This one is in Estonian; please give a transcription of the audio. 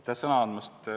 Aitäh sõna andmast!